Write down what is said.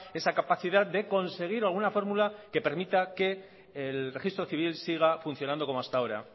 esa capacidad de conseguir alguna fórmula que permita que el registro civil siga funcionando como hasta ahora